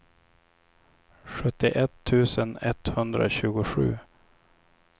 sjuttioett tusen etthundratjugosju